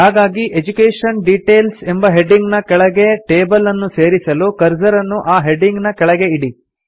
ಹಾಗಾಗಿ education details ಎಂಬ heading ನ ಕೆಳಗೆ ಟೇಬಲ್ ಅನ್ನು ಸೇರಿಸಲು ಕರ್ಸರ್ ಅನ್ನು ಆ ಹೆಡಿಂಗ್ ನ ಕೆಳಗೆ ಇಡಿ